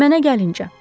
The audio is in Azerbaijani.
Mənə gəlincə.